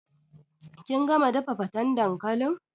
Kin gama dafa fatan dankalin?